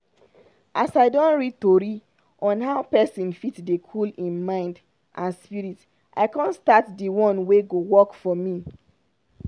as i don read tori on how pesin fit dey cool hin mind and spirit i con start d one wey go work for me.